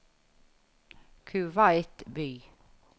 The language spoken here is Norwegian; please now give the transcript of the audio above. Kuwait by